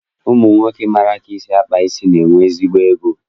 Ụmụnwoke maara ka esi akpa isi, na-enwe ezigbo ego